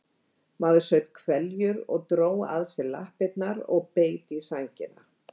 Maður saup hveljur og dró að sér lappirnar og beit í sængina.